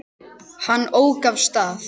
Hann ók af stað.